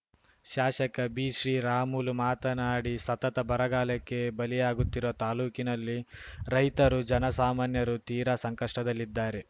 ಶಾಶಕ ಬಿಶ್ರೀರಾಮುಲು ಮಾತನಾಡಿ ಸತತ ಬರಗಾಲಕ್ಕೆ ಬಲಿಯಾಗುತ್ತಿರುವ ತಾಲೂಕಿನಲ್ಲಿ ರೈತರು ಜನಸಾಮಾನ್ಯರು ತೀರಾ ಸಂಕಷ್ಟದಲ್ಲಿದ್ದಾರೆ